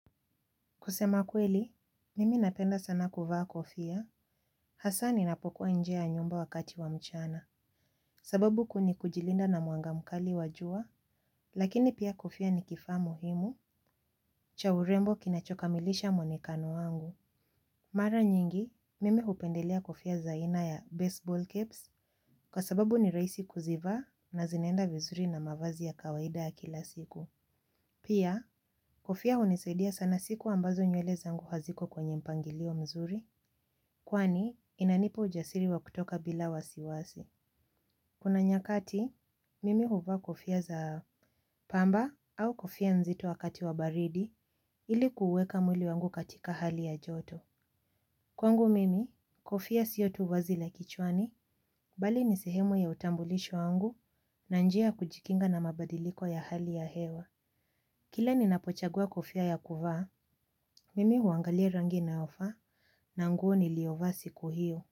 Kusema kweli, mimi napenda sana kuvaa kofia, hasaa ninapokuwa nje ya nyumba wakati wa mchana, sababu ku nikujilinda na mwanga mkali wa jua, lakini pia kofia ni kifaa muhimu, cha urembo kinachokamilisha mwonekano wangu. Mara nyingi, mimi hupendelea kofia za aina ya baseball caps, kwa sababu ni rahisi kuzivaa na zinaenda vizuri na mavazi ya kawaida ya kila siku. Pia, kofia hunisadia sana siku ambazo nywele zangu haziko kwenye mpangilio mzuri, kwani inanipa ujasiri wa kutoka bila wasiwasi. Kuna nyakati, mimi huvaa kofia za pamba au kofia nzito wakati wa baridi ili kuuweka mwili wangu katika hali ya joto. Kwangu mimi, kofia sio tu vazi la kichwani, bali ni sehemu ya utambulisho wangu na njia ya kujikinga na mabadiliko ya hali ya hewa. Kila ninapochagua kofia ya kuvaa, mimi huangalia rangi inayofaa na nguo niliovaa siku hiyo.